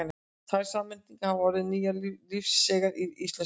Tvær samsetningar hafa orðið nokkuð lífseigar í íslensku.